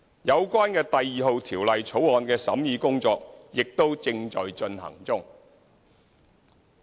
有關《2017年印花稅條例草案》的審議工作亦正在進行中。